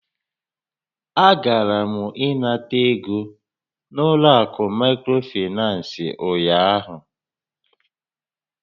A gara m ịnara ego n'ụlọ akụ microfinance ụnyaahụ.